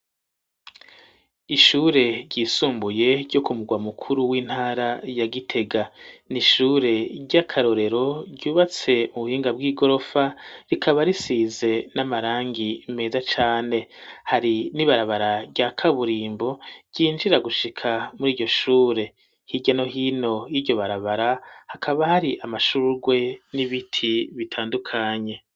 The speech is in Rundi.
Ishure ryisumbuye ryo kumugwa mukuru w'intara ya gitega ,n'ishure ry'akarorero ,ryubatse mu buhinga bw'igorofa ,rikaba risize n'amarangi meza cane, hari n'ibarabara rya kaburimbo ryinjira gushika muri iryo shure ,hiryano hino y'iryo barabara ,hakaba hari amashurwe n'ibiti bitandukanye.